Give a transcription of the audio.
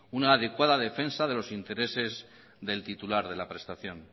una adecuada defensa de los intereses del titular de la prestación